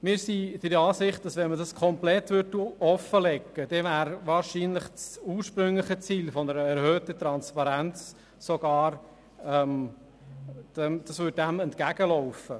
Würde man diese Informationen komplett offenlegen, dann wirkte dies unserer Meinung nach wahrscheinlich dem ursprünglichen Ziel einer erhöhten Transparenz entgegen.